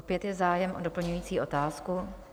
Opět je zájem o doplňující otázku.